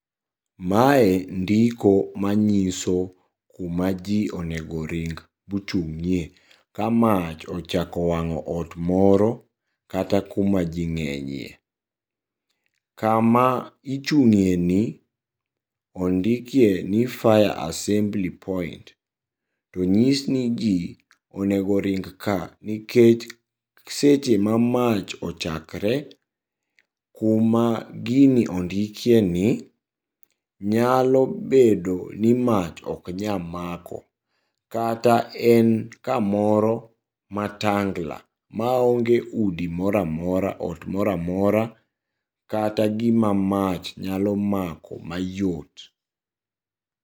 Mae ndiko manyiso kuma jii onego ring bochung'ie kamach ochako wang'o ot moro, kata kuma jii ng'enyie. Kama ichung'ieni ondikieni 'fire assembly point' to onyis ni jii onego ring ka nikech seche ma mach ochakre kuma gini ondikieni nyalo bedoni mach oknyamako, kata en kamoro matangla maonge udi mora amora ot mora amora kata gima mach nyalo mako mayot.